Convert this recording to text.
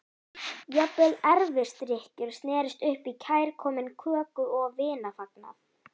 Jafnvel erfisdrykkjur snerust upp í kærkominn köku- og vinafagnað.